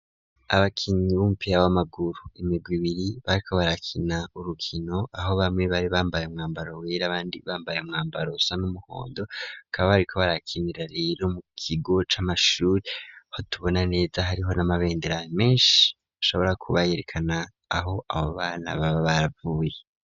Abakinyi b'umupira w'amaguru, imirwi ibiri bariko barakina, urukino aho bamwe bari bambaye umwambaro wera, abandi bambaye umwambaro usa n'umuhondo, bakaba bariko barakina rero mu kigo c'amashuri, aho tubona neza hariho n'amabendera menshi ashobora kuba yerekana aho abo bana baba baravuye.